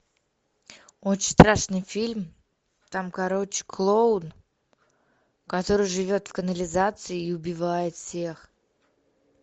очень страшный фильм там короче клоун который живет в канализации и убивает всех